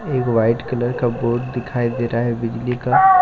एक white colour का board दिखाई दे रहा है बिजली का।